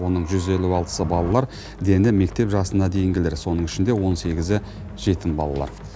оның жүз елу алтысы балалар дені мектеп жасына дейінгілер соның ішінде он сегізі жетім балалар